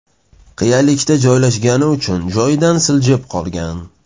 Qiyalikda joylashgani uchun joyidan siljib qolgan.